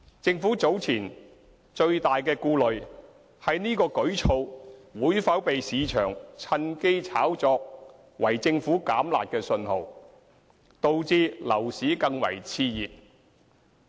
政府早前的最大顧慮，是這舉措會否被市場趁機炒作為政府"減辣"的信號，導致樓市更為熾熱。